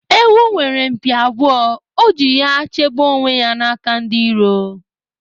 Ewu nwere mpi abụọ, o ji ya chebe onwe ya n'aka ndi iro